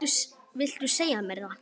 Viltu segja mér það?